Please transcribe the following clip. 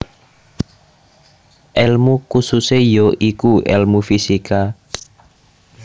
Elmu kususe ya iku elmu fisika